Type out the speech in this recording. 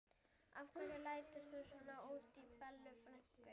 Af hverju lætur þú svona út í Bellu frænku?